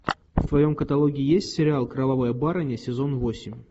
в твоем каталоге есть сериал кровавая барыня сезон восемь